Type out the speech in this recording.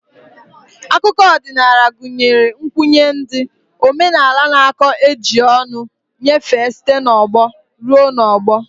Akụkọ odinaala gunyere nkwnye ndi, omenala n'akuko eji ọnụ nyefee site n'ọgbọ rue n'ogbo.